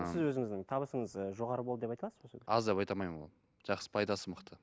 сіз өзіңіздің табысыңыз ы жоғары болды деп айта аласыз ба аз деп айта алмаймын ол жақсы пайдасы мықты